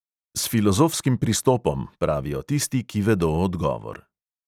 S filozofskim pristopom, pravijo tisti, ki vedo odgovor.